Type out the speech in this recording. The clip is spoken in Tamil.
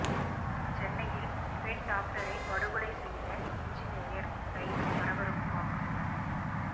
சென்னையில் பெண் டாக்டரை படுகொலை செய்த என்ஜினீயர் கைது பரபரப்பு வாக்குமூலம்